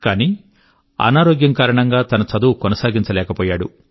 కానీ అనారోగ్య కారణం గా తన చదువు కొనసాగించలేకపోయాడు